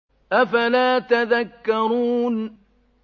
أَفَلَا تَذَكَّرُونَ